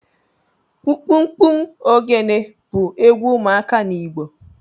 Kpụmkpụmkpụm ogene bu egwu ụmuaka n’Igbo